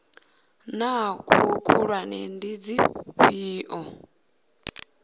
naa hoea khulwane ndi dzifhio